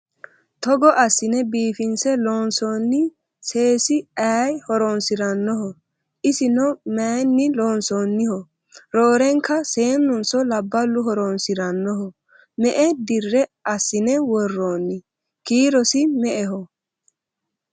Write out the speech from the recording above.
togo assine biifinse loonsoonni seesi aye horonsirannoho? isino mayeenni loonsoonniho? roorenaka seennunso labballu horonsirannoho? me"e dira assine worroonni? kiirosi me"eho?